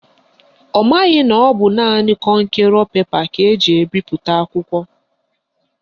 Ọ maghị na ọ bụ naanị kọnkerọ pepa ka eji ebipụta ya.